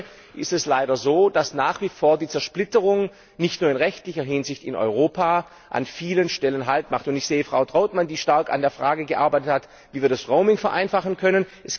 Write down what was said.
Denn heute ist es leider so, dass nach wie vor die Zersplitterung nicht nur in rechtlicher Hinsicht in Europa an vielen Stellen Hindernisse schafft. Ich sehe Frau Trautmann, die stark an der Frage gearbeitet hat, wie wir das Roaming vereinfachen können.